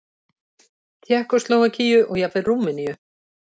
Tékkóslóvakíu og jafnvel Rúmeníu.